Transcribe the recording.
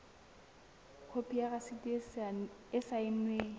khopi ya rasiti e saennweng